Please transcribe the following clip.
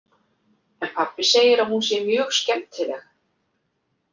En pabbi segir að hún sé mjög skemmtileg.